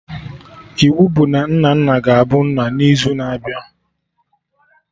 Iwu bụ na Nnanna ga-abu nna n'izu na-abịa!